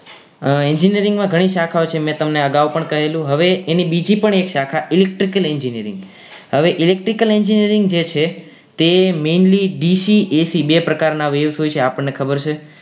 Engineering માં ઘણી શાખાઓ છે મેં તમને અગાઉ પણ કહેલું હવે એની બીજી પણ એક શાખા electrical engineering હવે electrical engineering જે છે તે mainly dc ac બે પ્રકારની waves હોય છે એ આપણને ખબર છે